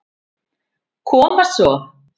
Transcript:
Koma svo.